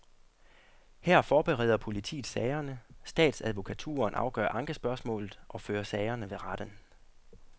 Her forbereder politiet sagerne, statsadvokaturen afgør ankespørgsmålet og fører sagerne ved retten.